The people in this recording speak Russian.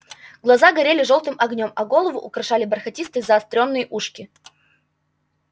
глаза горели жёлтым огнём а голову украшали бархатистые заострённые ушки